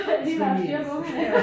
Lige være styr på ungerne